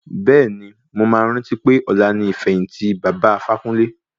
Bẹ́ẹ̀ni, mo máa rántí pé ọ̀la ni ìfẹ̀yìntì baba Ifákúnle.